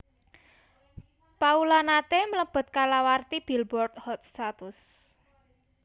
Paula nate mlebet kalawarti Billboard Hot satus